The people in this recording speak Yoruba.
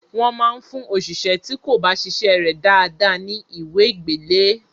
Wọ́n máa fún òṣìṣé tí kò bá ṣiṣẹ́ rẹ̀ dáadáa ní ìwé gbélé ẹ.